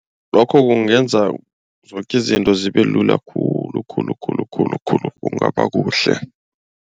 Lokho kungenza zoke izinto zibelula khulu khulu khulu khulu khulu kungaba kuhle.